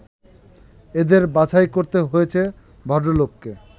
এদের বাছাই করতে হয়েছে ভদ্রলোককে